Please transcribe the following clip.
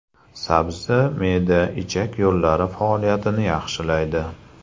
Sabzi me’da-ichak yo‘llari faoliyatini yaxshilaydi.